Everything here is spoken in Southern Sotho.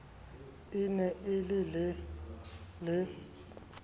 e ne e le le